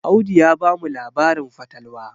Audu ya bamu labarin fatalwa